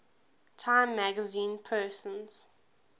time magazine persons